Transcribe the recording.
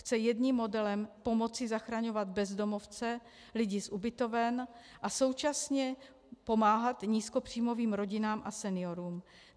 Chce jedním modelem pomoci zachraňovat bezdomovce, lidi z ubytoven, a současně pomáhat nízkopříjmovým rodinám a seniorům.